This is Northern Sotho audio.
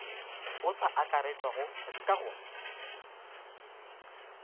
o sa akaretšwago ka go